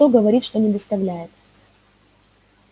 кто говорит что не доставляет